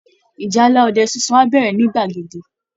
Ìjálá ọdẹ sunsun á bẹ̀rẹ̀ ní gbàgede